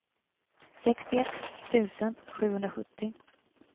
sextioett tusen sjuhundrasjuttio